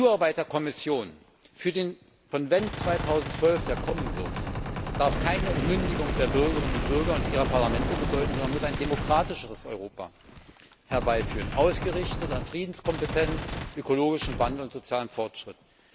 Die Zuarbeit der Kommission für den Konvent 2012, der kommen wird, darf keine Entmündigung der Bürgerinnen und Bürger und ihrer Parlamente bedeuten, sondern muss ein demokratischeres Europa herbeiführen, ausgerichtet an Friedenskompetenz, ökologischem Wandel und sozialem Fortschritt.